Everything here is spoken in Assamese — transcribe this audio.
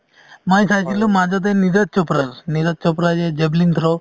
মই চাইছিলো মাজতে নীৰজ চোপ্ৰা, নীৰজ চোপ্ৰা এই যে javelin throw